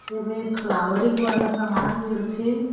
एमे फ्लॉवरिंग वाला सामान मिलथे।